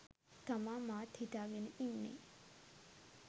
තමා මාත් හිතාගෙන ඉන්නේ.